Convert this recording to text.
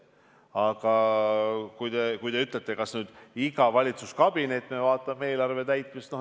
Aga te küsite, kas iga valitsuskabinet vaatab eelarve täitmist.